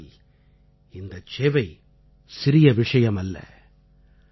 இன்றைய சூழலில் இந்தச் சேவை சிறிய விஷயமல்ல